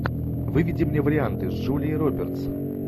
выведи мне варианты с джулией робертс